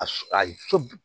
A s a su